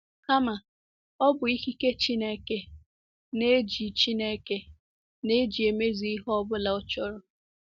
Kama, ọ bụ ikike Chineke na-eji Chineke na-eji emezu ihe ọ bụla ọ chọrọ.